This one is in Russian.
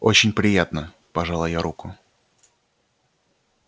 очень приятно пожала я руку